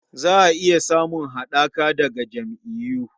Za a iya samun haɗaka daga jam'iyyu..